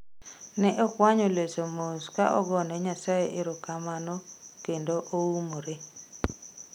Ne okwanyo leso mos ka ogone nyasaye ero kamano kendo oumre.